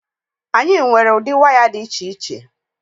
Anyị nwere ụdị waya dị iche iche.